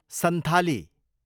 Santhali